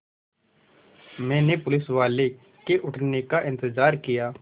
मैंने पुलिसवाले के उठने का इन्तज़ार किया